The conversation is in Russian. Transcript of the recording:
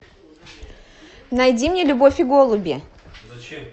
найди мне любовь и голуби